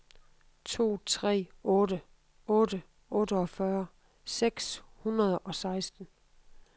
to tre otte otte otteogfyrre seks hundrede og seksten